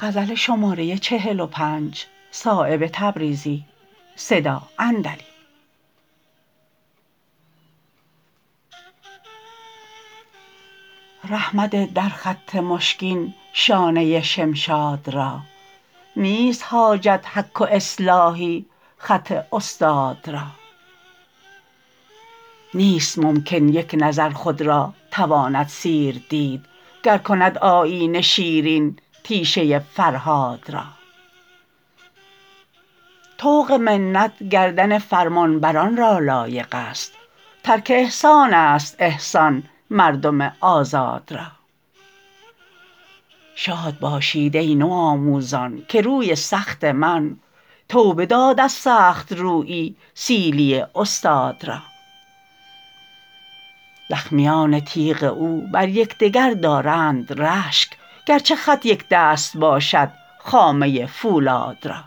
ره مده در خط مشکین شانه شمشاد را نیست حاجت حک و اصلاحی خط استاد را نیست ممکن یک نظر خود را تواند سیر دید گر کند آیینه شیرین تیشه فرهاد را طوق منت گردن فرمانبران را لایق است ترک احسان است احسان مردم آزاد را شاد باشید ای نوآموزان که روی سخت من توبه داد از سخت رویی سیلی استاد را زخمیان تیغ او بر یکدگر دارند رشک گر چه خط یکدست باشد خامه فولاد را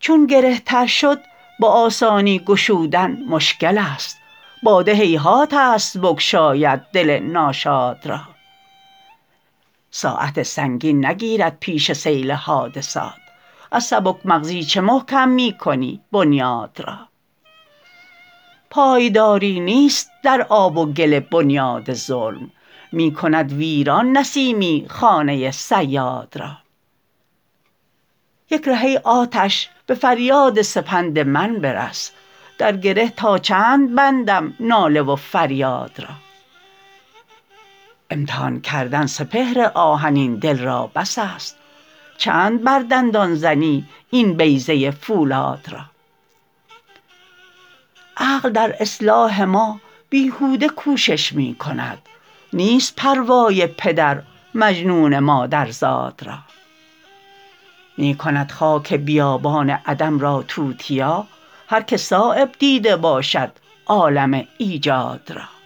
چون گره تر شد به آسانی گشودن مشکل است باده هیهات است بگشاید دل ناشاد را ساعت سنگین نگیرد پیش سیل حادثات از سبک مغزی چه محکم می کنی بنیاد را پایداری نیست در آب و گل بنیاد ظلم می کند ویران نسیمی خانه صیاد را یک ره ای آتش به فریاد سپند من برس در گره تا چند بندم ناله و فریاد را امتحان کردن سپهر آهنین دل را بس است چند بر دندان زنی این بیضه فولاد را عقل در اصلاح ما بیهوده کوشش می کند نیست پروای پدر مجنون مادرزاد را می کند خاک بیابان عدم را توتیا هر که صایب دیده باشد عالم ایجاد را